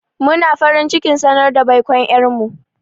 Muna farin cikin sanar da baikon ƴar mu.